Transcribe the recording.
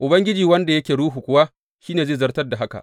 Ubangiji wanda yake ruhu kuwa shi ne mai zartar da haka.